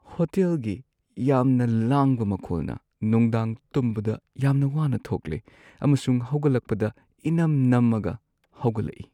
ꯍꯣꯇꯦꯜꯒꯤ ꯌꯥꯝꯅ ꯂꯥꯡꯕ ꯃꯈꯣꯜꯅ ꯅꯨꯡꯗꯥꯡ ꯇꯨꯝꯕꯗ ꯌꯥꯝꯅ ꯋꯥꯅ ꯊꯣꯛꯂꯦ, ꯑꯃꯁꯨꯡ ꯍꯧꯒꯠꯂꯛꯄꯗ ꯏꯅꯝ-ꯅꯝꯃꯒ ꯍꯧꯒꯠꯂꯛꯏ ꯫